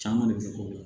Caman de bɛ k'o la